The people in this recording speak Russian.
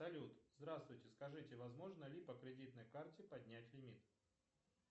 салют здравствуйте скажите возможно ли по кредитной карте поднять лимит